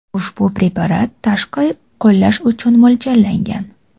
Ushbu preparat tashqi qo‘llash uchun mo‘ljallangan.